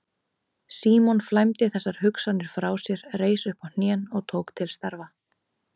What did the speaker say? Símon flæmdi þessar hugsanir frá sér, reis upp á hnén og tók til starfa.